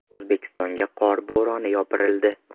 O‘zbekistonga qor bo‘roni yopirildi.